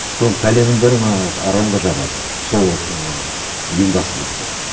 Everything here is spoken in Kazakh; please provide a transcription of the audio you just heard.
сол бәленің бәрін ана аронға жабады сол ыыы ұйымдастырды деп